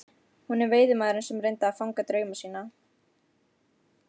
Hún er veiðimaðurinn sem reynir að fanga drauma sína.